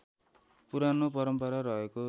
पुरानो परम्परा रहेको